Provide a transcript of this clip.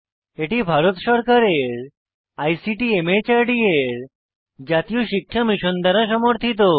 এটি ভারত সরকারের আইসিটি মাহর্দ এর জাতীয় শিক্ষা মিশন দ্বারা সমর্থিত